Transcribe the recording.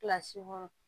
Kilasi kɔnɔ